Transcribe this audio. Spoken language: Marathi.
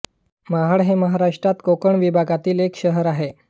महाड हे महाराष्ट्रात कोकण विभागातील एक शहर आहे